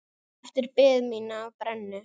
Eftir bið mína á brennu.